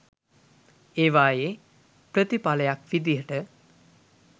ඒවයෙ ප්‍රතිපලයක් විදියට